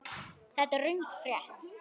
Þetta er röng frétt.